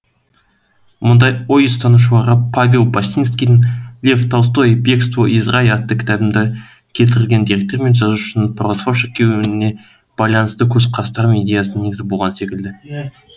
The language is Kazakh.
мұндай ой ұстанушыларға павел басинскийдің лев толстой бегство из рая атты кітабында келтірілген деректер мен жазушының православ шіркеуіне байланысты көзқарастары мен идеясы негіз болған секілді